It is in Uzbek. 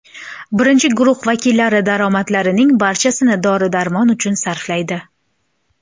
Birinchi guruh vakillari daromadlarning barchasini dori-darmon uchun sarflaydi.